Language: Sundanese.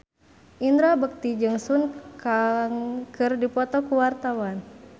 Indra Bekti jeung Sun Kang keur dipoto ku wartawan